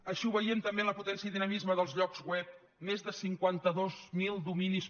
així ho veiem també en la potència i dinamisme dels llocs web més de cinquanta dos mil dominis